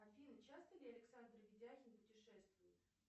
афина часто ли александр ведяхин путешествует